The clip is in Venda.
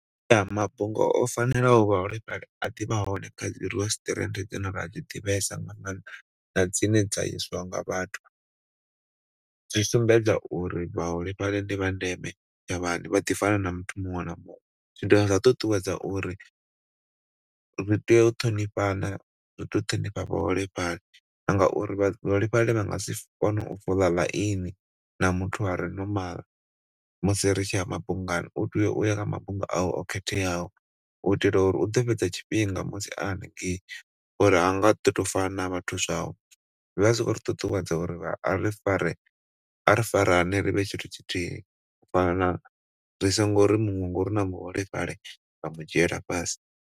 Mafhungo o fanelaho vhaholefhali a ḓi vha hone kha dzi resituwarenthe dzine ra dzi ḓivhesa nga maanḓa na dzine dza yeswa nga vhathu. Dzi sumbedza uri vhaholefhali ndi vha ndeme vha ḓi fana na muthu muṅwe na muṅwe zwi dovha zwa ṱuṱuwedza uri ri tea u ṱhonifhana, ri tea u ṱhonifha vhaholefhali ngauri vhaholefhali vha ngasi kone u fola line na muthu are normal musi ri tshi ya mabungani. U tea uya kha mabunga awe o khetheaho u itela uri u ḓo fhedza tshifhinga musi a hanengei uri ha nga ḓo tou fana na vhathu zwavho. Zwi vha zwi khou ri ṱuṱuwedza uri ari farane ri vhe tshithu tshithihi ri songo ri muṅwe ngauri ndi muholefhali ra mu dzhiela fhasi.